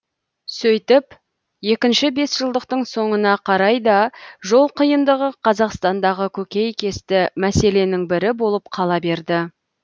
сөйтіп екінші бесжылдықтың соңына қарай да жол қиындығы қазақстандағы көкейкесті мәселенің бірі болып қала берді